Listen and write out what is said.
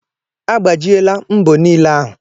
Agbajiela mbo niile ahu.